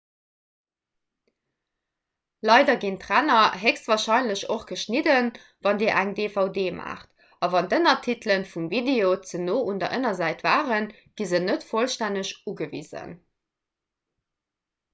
leider ginn d'ränner héchstwarscheinlech och geschnidden wann dir eng dvd maacht a wann d'ënnertitele vum video ze no un der ënnersäit waren gi se net vollstänneg ugewisen